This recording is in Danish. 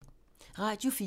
Radio 4